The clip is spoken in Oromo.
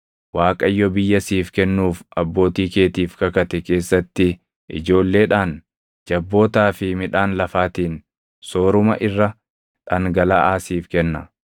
Waaqayyo biyya siif kennuuf abbootii keetiif kakate keessatti ijoolleedhaan, jabbootaa fi midhaan lafaatiin sooruma irra dhangalaʼaa siif kenna.